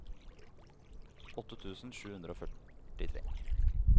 åtte tusen sju hundre og førtitre